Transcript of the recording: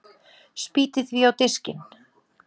Spýti því á diskinn.